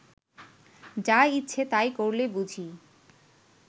যা ইচ্ছে তাই করলে বুঝি